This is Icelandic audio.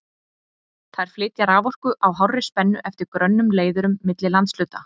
Þær flytja raforku á hárri spennu eftir grönnum leiðurum milli landshluta.